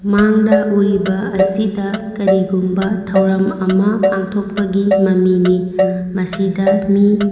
ꯃꯡꯗ ꯎꯔꯤꯕ ꯑꯁꯤꯗ ꯀꯔꯤ ꯒꯨꯃꯕ ꯊꯧꯔꯥꯝ ꯑꯃ ꯄꯟꯊꯣꯛꯄꯒꯤ ꯃꯃꯤꯅꯤ ꯃꯁꯤꯗ ꯃꯤ --